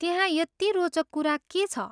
त्यहाँ यति रोचक कुरा के छ?